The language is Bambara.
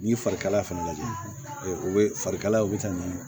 N'i ye fari kalaya fana lajɛ o bɛ farikalayaw bɛ taa n'a ye